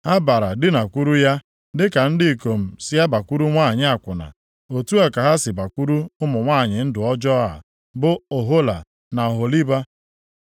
Ha bara dinakwuru ya. Dịka ndị ikom si abakwuru nwanyị akwụna, otu a ka ha si bakwuru ụmụ nwanyị ndụ ọjọọ a bụ Ohola na Oholiba.